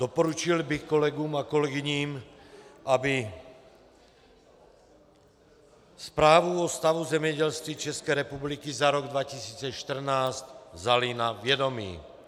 Doporučil bych kolegům a kolegyním, aby Zprávu o stavu zemědělství České republiky za rok 2014 vzali na vědomí.